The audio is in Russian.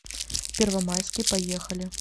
первомайский поехали